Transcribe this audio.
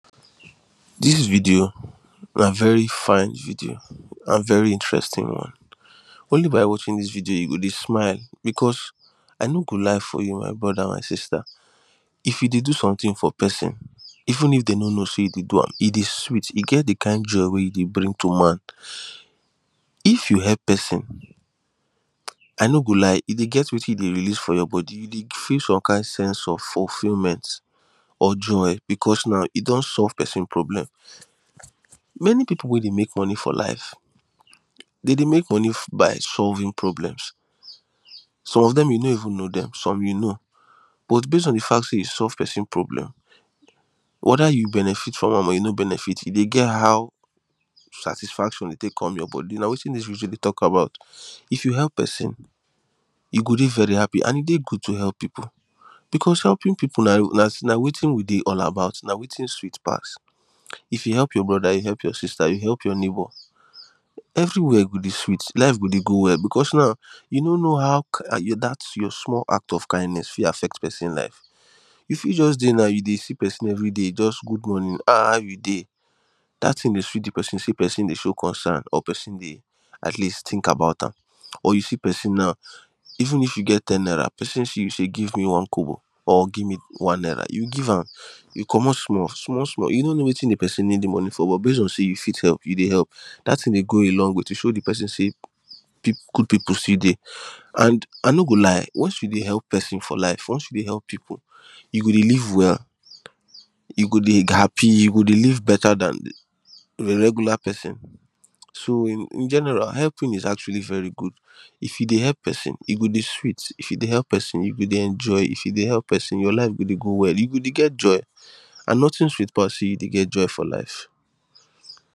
This video na very fine video and very interesting one. Only by watching this video you go dey smile because I no go lie for you my brother my sister if you dey do something for person even if dem no know say you do am e dey sweet e get the kind joy e dey bring to man if you help person I no go lie e dey get wetin e dey release for your body e dey feel some kind sense of fulfilment or joy because now e don solve person problem. Many people wey dey make money for life dem dey make money by solving problems some of them you no even know them some you know but base on the fact say you solve person problem whether you benefit from am or you no benefit e dey get how satisfaction dey take come your body na wetin this video dey talk about if you help person you go dey very happy and e dey good to help people because helping people na wetin we dey all about na wetin sweet pass if you help your brother you help your sister you help your neighbour everywhere go dey sweet life go dey go well because now you no know how that your small act of kindness fit affect person life you fit just dey now you dey see person every day just good morning ahah how you dey that thing dey sweet the person say person dey show concern or person dey atleast think about am or you see person now even if you get ten naira person see you say give me one kobo or give me one naira you give am you commot small small small you no know wetin the person needs the money for but base on say you fit help you dey help that thing dey go a long way to show the person say good people still dey and I no go lie once you dey help person for life once you dey help people you go dey live well you go dey happy you go dey live better than the regular person so in general helping is actually very good if you dey help person e go dey sweet if you dey help person you go dey enjoy if you dey help person your life go dey go well you go dey get joy and nothing sweet pass say you dey get joy for life.